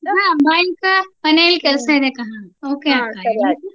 ಹಾ bye ಅಕ್ಕ. ಮನೇಲ್ ಕೆಲ್ಸ ಇದೆಕ್ಕ. Okay ಅಕ್ಕ .